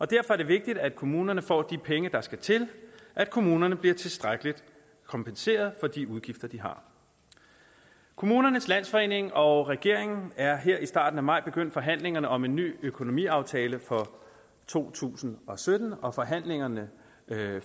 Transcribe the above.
derfor er det vigtigt at kommunerne får de penge der skal til at kommunerne bliver tilstrækkeligt kompenseret for de udgifter de har kommunernes landsforening og regeringen er her i starten af maj begyndt på forhandlingerne om en ny økonomiaftale for to tusind og sytten og forhandlingerne